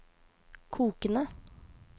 kokende